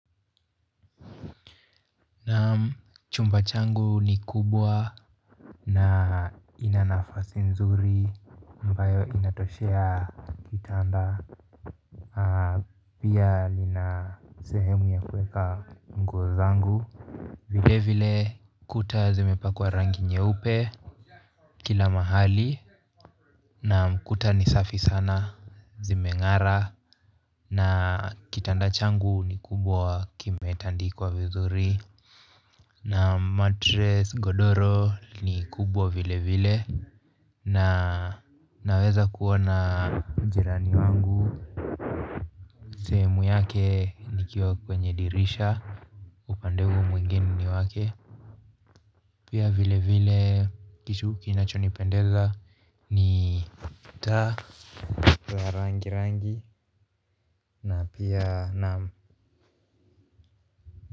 Naam, chumba changu ni kubwa na ina nafasi nzuri ambayo inatoshea kitanda. Pia lina sehemu ya kuweka nguo zangu vile vile kuta zimepakwa rangi nyeupe kila mahali na kuta ni safi sana zimeng'ara na kitanda changu ni kubwa kimetandikwa vizuri na matress, godoro ni kubwa vile vile na naweza kuona jirani wangu sehemu yake nikiwa kwenye dirisha, upande huo mwingine ni wake pia vile vile kitu kinachonipendeza ni mtaa wa rangi rangi na pia naam.